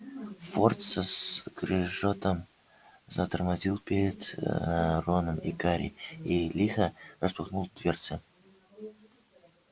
форд со скрежетом затормозил перед роном и гарри и лихо распахнул дверцы